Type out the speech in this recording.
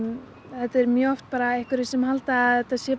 þetta er mjög oft bara einhverjir sem halda að þetta sé